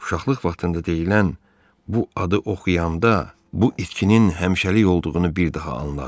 Uşaqlıq vaxtında deyilən bu adı oxuyanda bu itkinin həmişəlik olduğunu bir daha anladı.